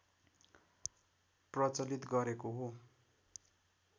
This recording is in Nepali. प्रचलित गरेको हो